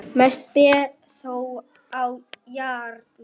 Mest ber þó á járni.